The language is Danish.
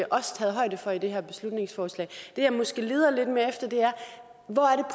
også taget højde for i det her beslutningsforslag det jeg måske leder lidt mere efter